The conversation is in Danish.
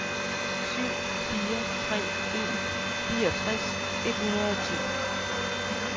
syv fire tre en fireogtres et hundrede og ti